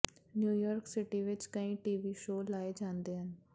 New York city ਵਿਚ ਕਈ TV show ਲਾਏ ਜਾਂਦੇ ਹਨ